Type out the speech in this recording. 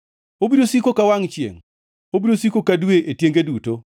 Obiro siko ka wangʼ chiengʼ, obiro siko ka dwe e tienge duto.